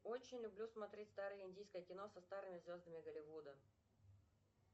очень люблю смотреть старое индийское кино со старыми звездами болливуда